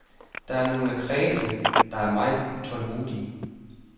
Der er nogle kredse, der er meget utålmodige.